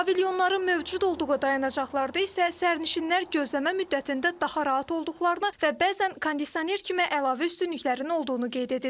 Pavilyonların mövcud olduğu dayanacaqlarda isə sərnişinlər gözləmə müddətində daha rahat olduqlarını və bəzən kondisioner kimi əlavə üstünlüklərinin olduğunu qeyd edirlər.